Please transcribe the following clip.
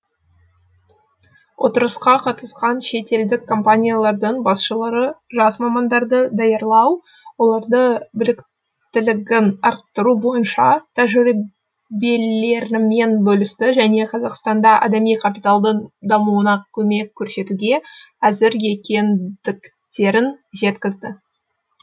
отырысқа қатысқан шетелдік компаниялардың басшылары жас мамандарды даярлау олардың біліктілігін арттыру бойынша тәжірибелерімен бөлісті және қазақстанда адами капиталдың дамуына көмек көрсетуге әзір екендіктерін жеткізді